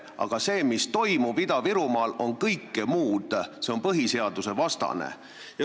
Aga see, mis toimub Ida-Virumaal, on kõike muud – ja see on põhiseadusvastane.